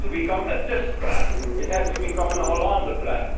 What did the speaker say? It has to become a Tusk plan it has to become a Hollande Plan